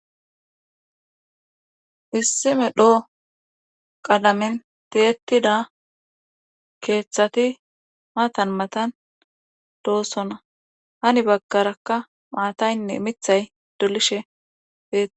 Issime dhoo qalamin teetida keeththati matan matan doosonna hani baggarakka maataynne mithay dolishe tei